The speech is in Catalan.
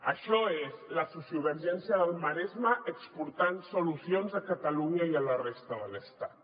això és la sociovergència del maresme exportant solucions a catalunya i a la resta de l’estat